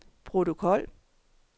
protokol